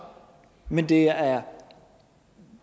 men det er er